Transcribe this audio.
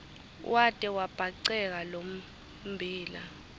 wate wabhaceka lommbila